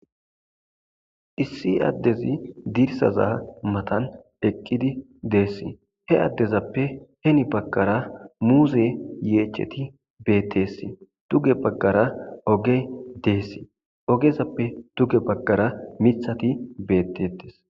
Issi adezi dirsaza matan eqidi Des he adezappe heni baganra muze yecheti detes duge bagara ogey des ogezappe duge bagara mithati betetes